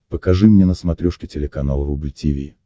покажи мне на смотрешке телеканал рубль ти ви